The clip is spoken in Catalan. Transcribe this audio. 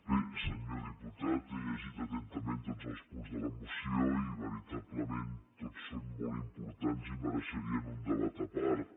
bé senyor diputat he llegit atentament tots els punts de la moció i veritablement tots són molt importants i mereixerien un debat a part